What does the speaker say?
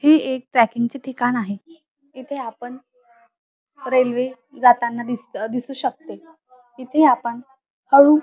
ही एक ट्रॅकिंग चे ठिकाण आहे इथे आपण रेल्वे जाताना दि दिसू शकतो तिथे आपण हळू --